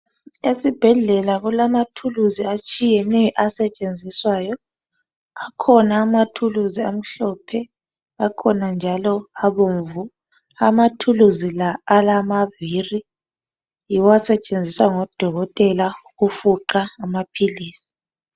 Esibhedlela kulamathuluzi atshiyeneyo asetshenziswayo, akhona amathuluzi amhlophe, akhona njalo abomvu. Amathuluzi la alamavili, yiwo asetshenziswa ngododkotela ukufuqa amapilizi.